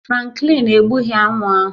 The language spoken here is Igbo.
Franklin egbughị aṅụ ahụ